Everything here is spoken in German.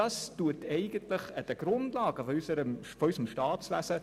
Das rüttelt an den Grundlagen unseres Staatswesens.